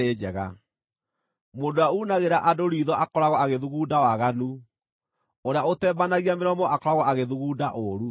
Mũndũ ũrĩa uunagĩra andũ riitho akoragwo agĩthugunda waganu, ũrĩa ũtembanagia mĩromo akoragwo agĩthugunda ũũru.